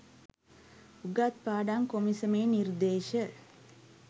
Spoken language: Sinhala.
උගත් පාඩම් කොමිසමේ නිර්දේශ